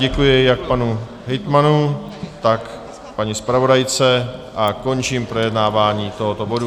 Děkuji jak panu hejtmanu, tak paní zpravodajce a končím projednávání tohoto bodu.